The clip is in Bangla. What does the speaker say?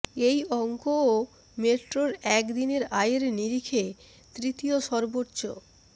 এই অঙ্কও মেট্রোর এক দিনের আয়ের নিরিখে তৃতীয় সর্বোচ্চ